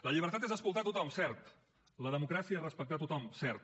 la llibertat és escoltar tothom cert la democràcia és respectar tothom cert